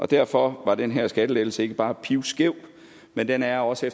derfor var den her skattelettelse ikke bare pivskæv den er også